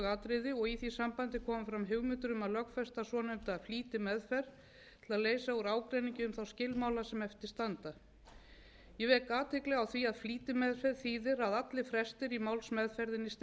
atriði og í því sambandi komið fram hugmyndir um að lögfesta svonefnda flýtimeðferð til að leysa úr ágreiningi um þá skilmála sem eftir standa ég vek athygli á því að flýtimeðferð þýðir að allir frestir í málsmeðferðinni styttast slík heimild mundi þó að